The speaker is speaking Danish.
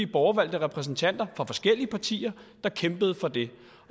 borgervalgte repræsentanter fra forskellige partier der kæmpede for det